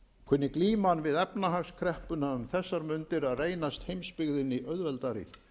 kunni glíman við efnahagskreppuna um þessar mundir að reynast heimsbyggðinni auðveldari